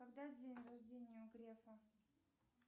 когда день рождения у грефа